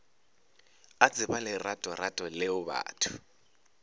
a tseba leratorato leo batho